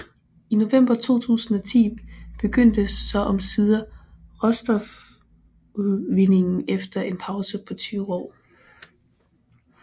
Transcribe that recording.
I november 2010 begyndte så omsider råstofudvindingen efter en pause på 20 år